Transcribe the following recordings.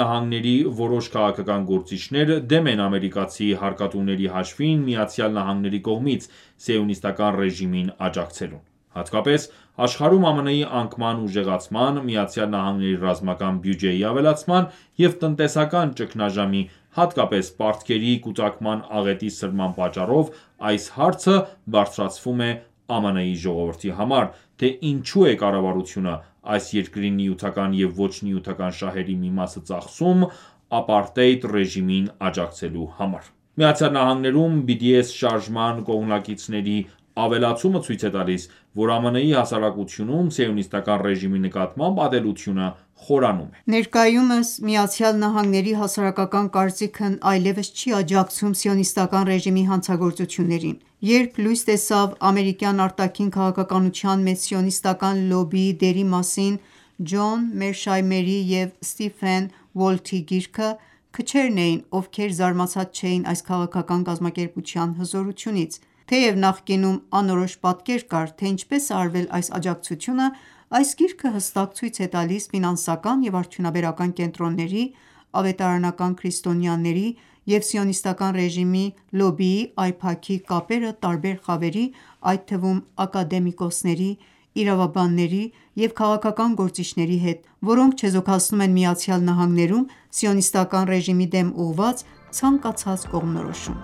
ԱՄՆ-ի հասարակական կարծիքը, այս երկրի որոշ քաղաքական գործիչներ դեմ են ամերիկացի հարկատուների հաշվին ԱՄՆ-ի կողմից Սիոնիստական ​​ռեժիմին աջակցելուն։ Հատկապես աշխարհում ԱՄՆ-ի անկման ուժեղացման, ԱՄՆ-ի ռազմական բյուջեի ավելացման և տնտեսական ճգնաժամի, հատկապես պարտքերի կուտակման աղետի սրման պատճառով այս հարցը բարձրացվում է ԱՄՆ-ի ժողովրդի համար, թե ինչու է կառավարությունը այս երկրի նյութական և ոչ նյութական շահերի մի մասը ծախսում ՝ ապարտեիդ ռեժիմին աջակցելու համար։ ԱՄՆ-ում BDS շարժման կողմնակիցների ավելացումը ցույց է տալիս, որ ԱՄՆ-ի հասարակությունում Սիոնիստական ​​ռեժիմի նկատմամբ ատելությունը խորանում է։ Ներկայում ԱՄՆ-ի հասարակական կարծիքն այլևս չի աջակցում Սիոնիստական ​​ռեժիմի հանցագործություններին։ Երբ լույս տեսավ ամերիկյան արտաքին քաղաքականության մեջ սիոնիստական ​​լոբբիի դերի մասին Ջոն Մերշայմերի և Սթիվեն Ուոլթի գիրքը, քչերն էին, ովքեր զարմացած չէին այս քաղաքական կազմակերպության հզորությունից։ Թեև նախկինում անորոշ պատկեր կար, թե ինչպես է արվել այս աջակցությունը, այս գիրքը հստակ ցույց է տալիս ֆինանսական և արդյունաբերական կենտրոնների, ավետարանական քրիստոնյաների և Սիոնիստական ​​ռեժիմի լոբբիի AIPAC-ի կապերը տարբեր խավերի, այդ թվում՝ ակադեմիկոսների, իրավաբանների և քաղաքական գործիչների հետ, որոնք չեզոքացնում են ԱՄՆ-ում Սիոնիստական ​​ռեժիմի դեմ ուղղված ցանկացած կողմնորոշում։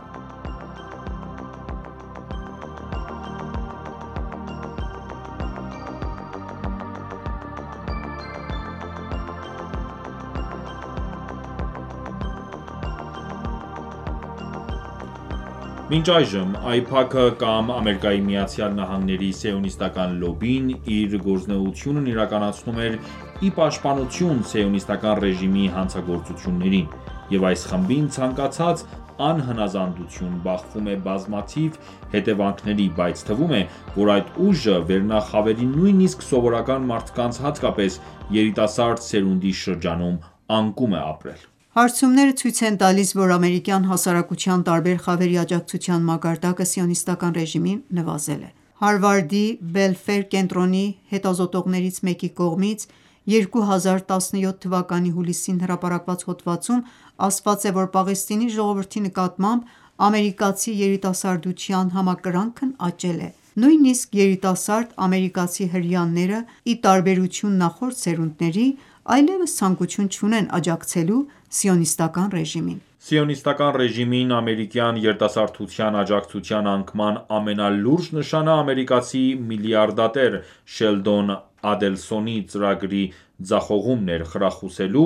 Մինչ այժմ AIPAC-ը կամ ԱՄՆ-ի սիոնիստական ​​լոբբին իր գործունեությունն իրականացնում էր ի պաշտպանություն Սիոնիստական ​​ռեժիմի հանցագործություններին, և այս խմբին ցանկացած անհնազանդություն բախվում է բազմաթիվ հետևանքների, բայց թվում է, որ այդ ուժը վերնախավերի նույնիսկ սովորական մարդկանց, հատկապես երիտասարդ սերունդի շրջանում անկում է ապրել։ Հարցումները ցույց են տալիս, որ ամերիկյան հասարակության տարբեր խավերի աջակցության մակարդակը Սիոնիստական ​​ռեժիմին նվազել է։ Հարվարդի «Բելֆեր» կենտրոնի հետազոտողներից մեկի կողմից 2017 թվականի հուլիսին հրապարակված հոդվածում ասված է, որ Պաղեստինի ժողովրդի նկատմամբ ամերիկացի երիտասարդության համակրանքն աճել է։ Նույնիսկ երիտասարդ ամերիկացի հրեաները, ի տարբերություն նախորդ սերունդների, այլեւս ցանկություն չունեն աջակցելու Սիոնիստական ​​ռեժիմին: Սիոնիստական ​​ռեժիմին ամերիկյան երիտասարդության աջակցության անկման ամենալուրջ նշանը ամերիկացի միլիարդատեր Շելդոն Ադելսոնի ծրագրի ձախողումն էր՝ խրախուսելու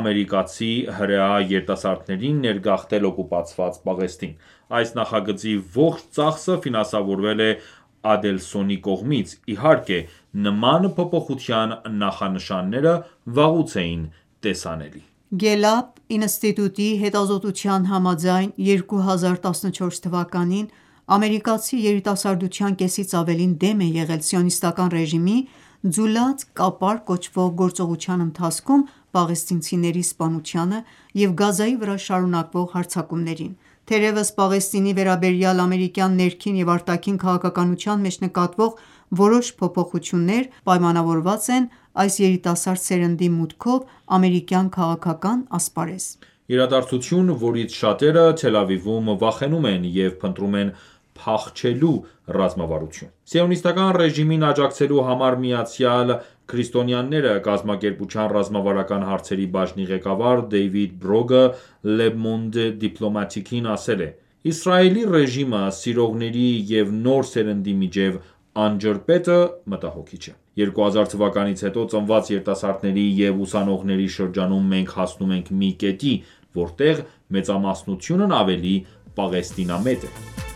ամերիկացի հրեա երիտասարդներին ներգաղթել օկուպացված Պաղեստին: Այս նախագծի ողջ ծախսը ֆինանսավորվել է Ադելսոնի կողմից, իհարկե, նման փոփոխության նախանշանները վաղուց էին տեսանելի։ Գելլափ ինստիտուտի հետազոտության համաձայն՝ 2014 թվականին ամերիկացի երիտասարդության կեսից ավելին դեմ է եղել Սիոնիստական ​​ռեժիմի «Ձուլած կապար» կոչվող գործողության ընթացքում պաղեստինցիների սպանությանը և Գազայի վրա շարունակվող հարձակումներին։ Թերևս Պաղեստինի վերաբերյալ ամերիկյան ներքին և արտաքին քաղաքականության մեջ նկատվող որոշ փոփոխություններ պայմանավորված են այս երիտասարդ սերնդի մուտքով ամերիկյան քաղաքական ասպարեզ: Իրադարձություն, որից շատերը Թել Ավիվում վախենում են և փնտրում են փախչելու ռազմավարություն։ «Սիոնիստական ​​ռեժիմին աջակցելու համար միացյալ քրիստոնյաները» կազմակերպության ռազմավարական հարցերի բաժնի ղեկավար «Դեյվիդ Բրոգը Le Monde Diplomatic-ին ասել է.««Իսրայելի ռեժիմը սիրողների և նոր սերնդի միջև անջրպետը մտահոգիչ է։ 2000 թվականից հետո ծնված երիտասարդների և ուսանողների շրջանում մենք հասնում ենք մի կետի, որտեղ մեծամասնությունն ավելի Պաղեստինամետ է»: ԱՄՆ-ի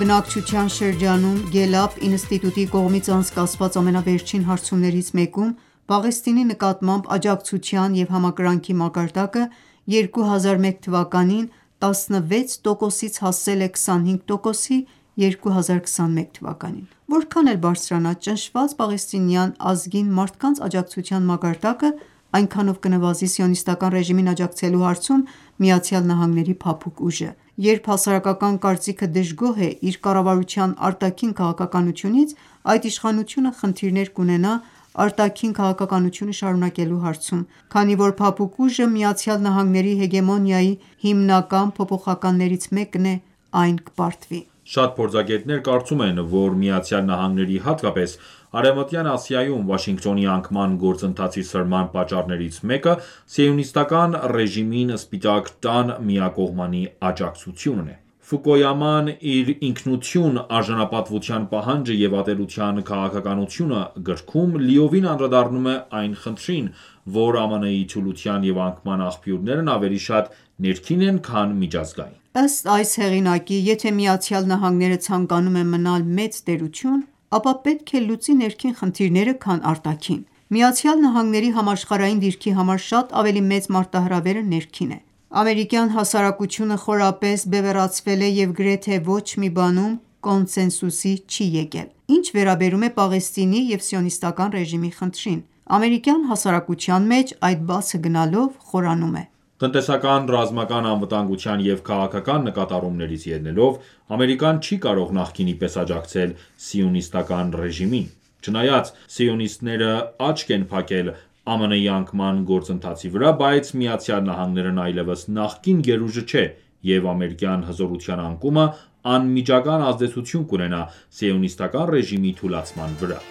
բնակչության շրջանում Գելլափ ինստիտուտի կողմից անցկացված ամենավերջին հարցումներից մեկում, Պաղեստինի նկատմամբ աջակցության և համակրանքի մակարդակը 2001 թվականին 16 տոկոսից հասել է 25 տոկոսի 2021 թվականին։ Որքան էլ բարձրանա ճնշված պաղեստինյան ազգին մարդկանց աջակցության մակարդակը այնքանով կնվազի Սիոնիստական ​​ռեժիմին աջակցելու հարցում ԱՄՆ-ի փափուկ ուժը: Երբ հասարակական կարծիքը դժգոհ է իր կառավարության արտաքին քաղաքականությունից, այդ իշխանությունը խնդիրներ կունենա արտաքին քաղաքականությունը շարունակելու հարցում։ Քանի որ փափուկ ուժը ԱՄՆ-ի հեգեմոնիայի հիմնական փոփոխականներից մեկն է, այն կպարտվի։ Շատ փորձագետներ կարծում են, որ ԱՄՆ-ի հատկապես Արևմտյան Ասիայում, Վաշինգտոնի անկման գործընթացի սրման պատճառներից մեկը Սիոնիստական ​​ռեժիմին Սպիտակ տան միակողմանի աջակցությունն է։ Ֆուկույաման իր «Ինքնություն. արժանապատվության պահանջը և ատելության քաղաքականությունը» գրքում լիովին անդրադառնում է այն խնդրին, որ ԱՄՆ-ի թուլության և անկման աղբյուրներն ավելի շատ ներքին են, քան միջազգային: Ըստ այս հեղինակի, եթե Միացյալ Նահանգները ցանկանում է մնալ մեծ տերություն, ապա պետք է լուծի ներքին խնդիրները, քան արտաքին: ԱՄՆ-ի համաշխարհային դիրքի համար շատ ավելի մեծ մարտահրավերը ներքին է: Ամերիկյան հասարակությունը խորապես բևեռացվել է և գրեթե ոչ մի բանում կոնսենսուսի չի եկել։ Ինչ վերաբերում է Պաղեստինի և Սիոնիստական ​​ռեժիմի խնդրին, ամերիկյան հասարակության մեջ այդ բացը գնալով խորանում է։ Տնտեսական, ռազմական, անվտանգության և քաղաքական նկատառումներից ելնելով, Ամերիկան ​​չի կարող նախկինի պես աջակցել Սիոնիստական ​​ռեժիմին։ Չնայած սիոնիստները աչք են փակել ԱՄՆ-ի անկման գործընթացի վրա, բայց ԱՄՆ-ն ​​այլևս նախկին գերուժը ​​չէ, և ամերիկյան հզորության անկումը անմիջական ազդեցություն կունենա Սիոնիստական ​​ռեժիմի թուլացման վրա: